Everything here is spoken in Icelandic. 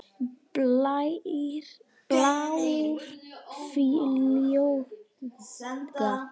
Bílar fljúga.